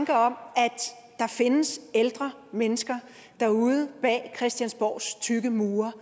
at der findes ældre mennesker derude bag christiansborgs tykke mure